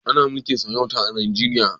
Ana mulkin sarauta a Nijeriya?